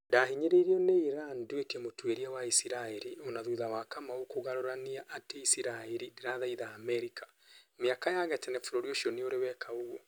ndahĩnyĩrĩirio nĩ iran nduĩke mũtuĩria wa isisraĩri ona thutha wa kamau kũgarũrania atĩ isiraĩri ndirathaitha Amerika, miaka ya gatene bũrũri ũcio nĩũrĩ weka ũguo